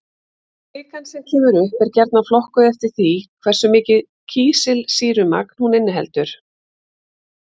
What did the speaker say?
Kvikan sem kemur upp er gjarnan flokkuð eftir því hversu mikið kísilsýrumagn hún inniheldur.